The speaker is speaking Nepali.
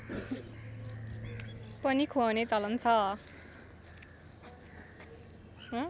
पनि ख्वाउने चलन छ